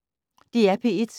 DR P1